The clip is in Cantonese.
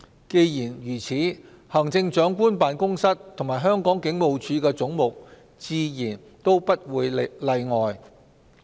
既然如此，行政長官辦公室及香港警務處的總目自然也不例外。